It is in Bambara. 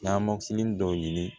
dɔ ɲini